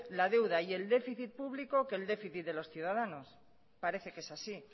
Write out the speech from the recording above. la deuda y el déficit público que el déficit de los ciudadanos parece que es así